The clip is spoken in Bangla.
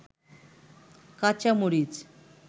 কাচা মরিচ